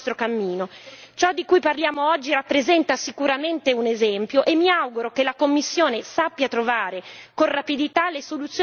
Ciò di cui parliamo oggi rappresenta sicuramente un esempio e mi auguro che la Commissione sappia trovare con rapidità le soluzioni più adatte